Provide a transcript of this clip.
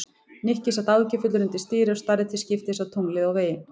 Nikki sat áhyggjufullur undir stýri og starði til skiptist á tunglið og veginn.